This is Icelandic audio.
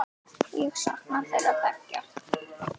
Ég sakna þeirra beggja.